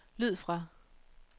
lyd fra